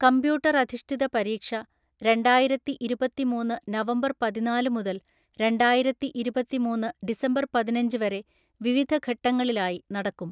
കമ്പ്യൂട്ടറധിഷ്ഠിത പരീക്ഷ രണ്ടായിരത്തിഇരുപത്തിമൂന്നു നവംബർ പതിനാലു മുതൽ രണ്ടായിരത്തിഇരുപത്തിമൂന്നു ഡിസംബർ പതിനഞ്ച് വരെ വിവിധ ഘട്ടങ്ങളിലായി നടക്കും.